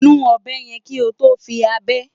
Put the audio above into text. Nu ọ̀bẹ yẹn kí o tó fi ábẹ́.